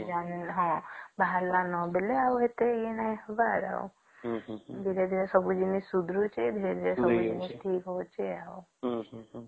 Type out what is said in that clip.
ହଁ ବାହାର ଲେନି ନ ଆଉ ବେଳେ ଆଉ ଏତେ ନାଇଁ ସବୁଆଡେ ଆଉ ଧୀରେ ଧୀରେ ସବୁ ଜିନିଷ ସୁଧୁରୁଛି ଧୀରେ ଧୀରେ ସବୁ ଏମିତି ଠିକ ହଉଚି ଆଉ